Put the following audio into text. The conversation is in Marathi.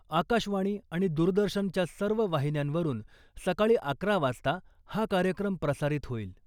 आकाशवाणी आणि दूरदर्शनच्या सर्व वाहिन्यांवरुन सकाळी अकरा वाजता हा कार्यक्रम प्रसारित होईल .